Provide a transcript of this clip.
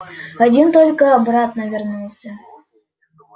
один только обратно вернулся